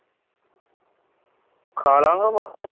ਖਾ ਲਾਂਗਾ ਬੱਸ